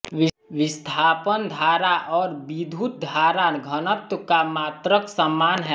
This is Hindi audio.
विस्थापन धारा और विद्युत धारा घनत्व का मात्रक समान है